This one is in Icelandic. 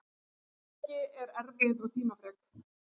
Heimspeki er erfið og tímafrek.